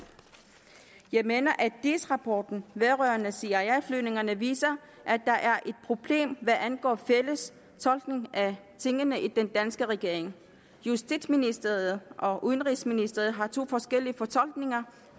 jeg mener at diis rapporten vedrørende cia flyvningerne viser at der er et problem hvad angår fælles fortolkning af tingene i den danske regering justitsministeriet og udenrigsministeriet har to forskellige fortolkninger